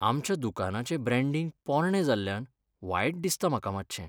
आमच्या दुकानाचें ब्रॅण्डींग पोरणें जाल्ल्यान वायट दिसता म्हाका मातशें.